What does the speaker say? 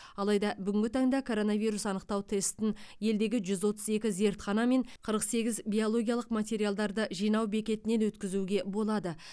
алайда бүгінгі таңда коронавирус анықтау тестін елдегі жүз отыз екі зертхана мен қырық сегіз биологиялық материалдарды жинау бекетінен өткізуге болады